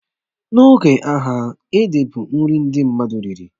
Na oge agha, ede bụ nri ndị mmadụ riri